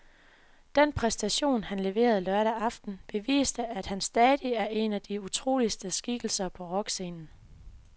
Den præstation, han leverede lørdag aften, beviste, at han stadig er en af de utroligste skikkelser på rockscenen.